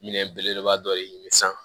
Minɛn belebeleba dɔ ye san